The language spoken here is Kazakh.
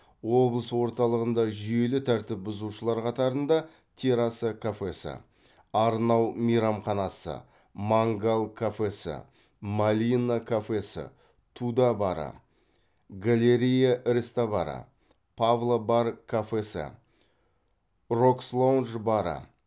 облыс орталығында жүйелі тәртіп бұзушылар қатарында терраса кафесі арнау мейрамханасы мангал кафесі малина кафесі туда бары галерея рестобары павло бар кафесі рокс лондж бары